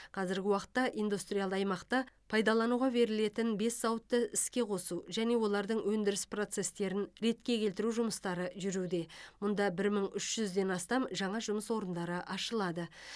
қазіргі уақытта индустриалды аймақта пайдалануға берілетін бес зауытты іске қосу және олардың өндіріс процесстерін ретке келтіру жұмыстары жүруде мұнда бір мың үш жүзден астам жаңа жұмыс орындары ашылады